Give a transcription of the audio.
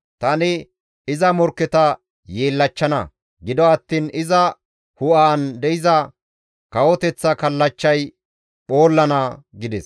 Tani iza morkketa yeellachchana; gido attiin iza hu7aan de7iza kawoteththa kallachchay phoollana» gides.